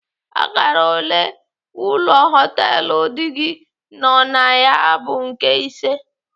Akara ole ụlọ họtelu di gị nọ na ya bụ nke ise.